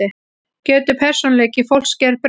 Getur persónuleiki fólks gerbreyst?